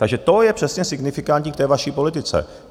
Takže to je přesně signifikantní k té vaší politice.